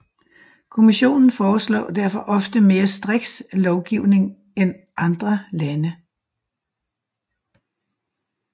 Kommissionen foreslår derfor ofte mere striks lovgivning end andre lande